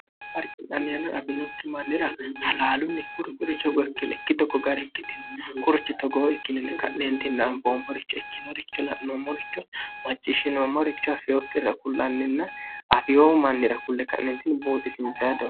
farcixaanniyaana afinokki mannira halaalunni kuri kuri chogookkileikki tokko gari ikkitino kurchi togoo ikkininni ka'neentinnanfoommoricho ikkinoricho la'noommoricho macciishshinoommoricho afeyookki irra kullanninna afiyo mannira kulle ka'neentini buuxisiinsayado